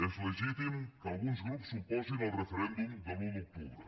és legítim que alguns grups s’oposin al referèndum de l’un d’octubre